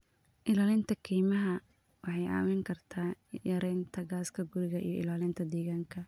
Ilaalinta kaymaha waxay caawin kartaa yareynta gaaska guri iyo ilaalinta deegaanka.